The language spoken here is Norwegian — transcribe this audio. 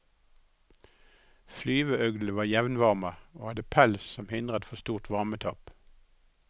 Flyveøglene var jevnvarme og hadde pels som hindret for stort varmetap.